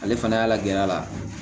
Ale fana y'a lajɛ a la